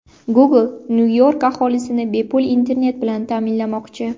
Google Nyu-York aholisini bepul internet bilan ta’minlamoqchi.